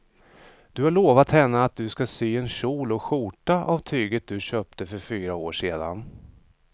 Du har lovat henne att du ska sy en kjol och skjorta av tyget du köpte för fyra år sedan.